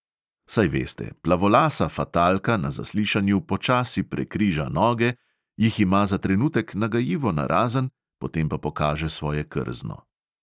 Saj veste, plavolasa fatalka na zaslišanju počasi prekriža noge, jih ima za trenutek nagajivo narazen, potem pa pokaže svoje krzno.